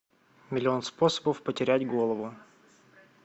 миллион способов потерять голову